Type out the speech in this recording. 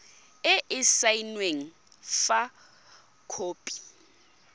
e e saenweng fa khopi